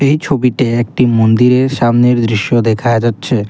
এই ছবিতে একটি মন্দিরের সামনের দৃশ্য দেখা যাচ্ছে।